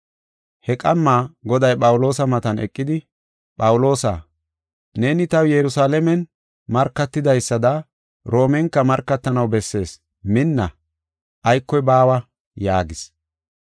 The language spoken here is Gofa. He qamma Goday Phawuloosa matan eqidi, “Phawuloosa, neeni taw Yerusalaamen markatidaysada Roomenka markatanaw bessees; minna; aykoy baawa” yaagis.